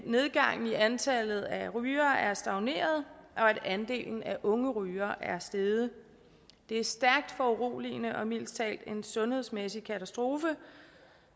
antallet af rygere er stagneret og at andelen af unge rygere er steget det er stærkt foruroligende og mildest talt en sundhedsmæssig katastrofe